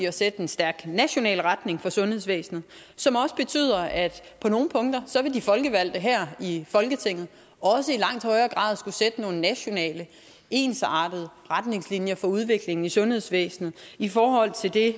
at sætte en stærk national retning for sundhedsvæsenet som også betyder at på nogle punkter vil de folkevalgte her i folketinget i langt højere grad skulle sætte nogle nationale ensartede retningslinjer for udviklingen i sundhedsvæsenet i forhold til det